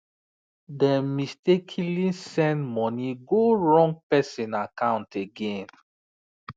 dem mistakenly send money go wrong person account again